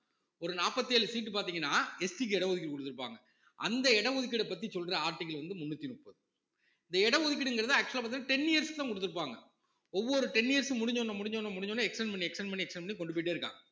ஒரு நாப்பத்தி ஏழு seat பாத்தீங்கன்னா SC க்கு இட ஒதுக்கீடு குடுத்திருப்பாங்க அந்த இட ஒதுக்கீட்ட பத்தி சொல்ற article வந்து முன்னூத்தி முப்பது இந்த இட ஒதுக்கீடுங்கிறது actual ஆ பாத்தீங்கன்னா ten years தான் குடுத்திருப்பாங்க ஒவ்வொரு ten years முடிஞ்சவுடனே முடிஞ்சவுடனே முடிஞ்சவுடனே extend பண்ணி extend பண்ணி extend பண்ணி கொண்டு போயிட்டே இருக்கான்